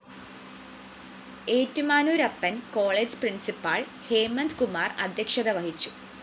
Ettumanoorappan‍ college principal‍ Hemanth Kumar‍ അദ്ധ്യക്ഷത വഹിച്ചു